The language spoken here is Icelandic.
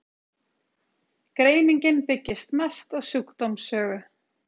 greiningin byggist mest á sjúkdómssögu